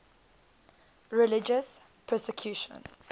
religious persecution